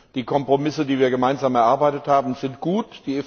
Die Kompromisse, die wir gemeinsam erarbeitet haben, sind gut.